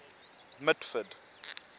mitford